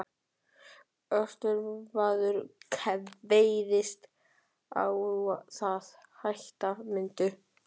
Austmaður kveðst á það hætta mundu.